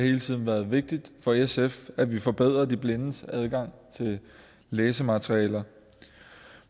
hele tiden været vigtigt for sf at vi forbedrede de blindes adgang til læsematerialer